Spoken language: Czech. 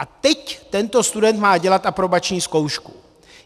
A teď tento student má dělat aprobační zkoušku.